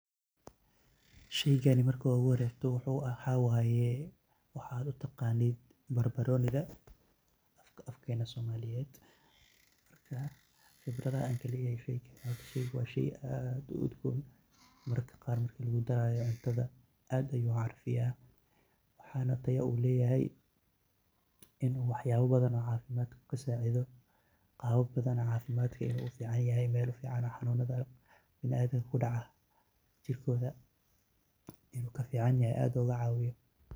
Sheeygan marki ugu horeysay waxaywaye waxa u taqanit barbaronika afakana somaliyet, qebarada ankaleyahay sheygani wa sheey aad u udgoon marka qar lagu daraya cuntaha aad ayu u carfiyah waxana Taya oo leeyahay ini waxayabo bathan cafimad kasacedoh, qababa bathan cafimad u ficanyahay xanunatha binaadamka kudacah jirkotha ayu aad ugu cawiyah.